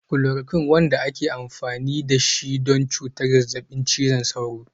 Chloroquine, wanda aka yi amfani da shi don cutar zazzabin cizon sauro.